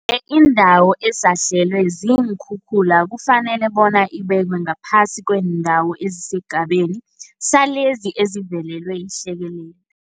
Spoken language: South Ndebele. Indawo esahlelwe ziinkhukhula kufanele bona ibekwe ngaphasi kweendawo ezisesigabeni salezi ezivelelwe yihlekelele